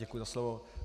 Děkuji za slovo.